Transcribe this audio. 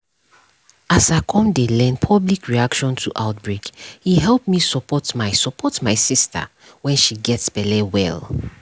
as i come learn public reaction to outbreake help me support my support my sister when she gets belle well